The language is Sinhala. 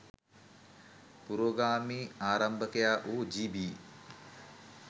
පුරෝගාමී ආරම්භකයා වූ ජී.බී.